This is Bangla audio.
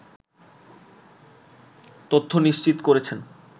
তথ্য নিশ্চিত করেছেন